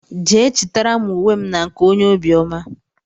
Jee chitara m ùwé m na-nke ónyé obiọma!!!!